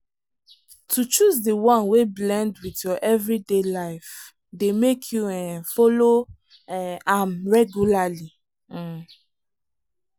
to choose the one wey blend with your everyday life dey make you um follow um am regularly. um